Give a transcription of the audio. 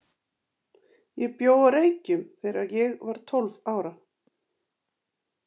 Ég bjó á Reykjum þegar ég var tólf ára.